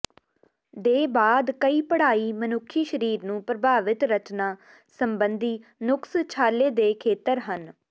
ਦੇ ਬਾਅਦ ਕਈ ਪੜ੍ਹਾਈ ਮਨੁੱਖੀ ਸਰੀਰ ਨੂੰ ਪ੍ਰਭਾਵਿਤ ਰਚਨਾ ਸੰਬੰਧੀ ਨੁਕਸ ਛਾਲੇ ਦੇ ਖੇਤਰ ਹਨ